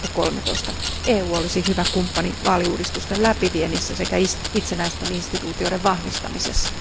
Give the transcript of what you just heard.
2013. EU olisi hyvä kumppani vaaliuudistusten läpiviennissä sekä itsenäisten instituutioiden vahvistamisessa.